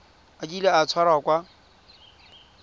a kile a tshwarwa ka